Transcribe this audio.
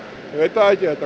ég veit það ekki þetta